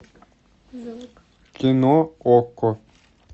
кино окко